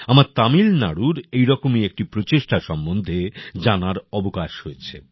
আমার তামিলনাড়ুর এরকমই একটি প্রচেষ্টা সম্বন্ধে জানার অবকাশ হয়েছে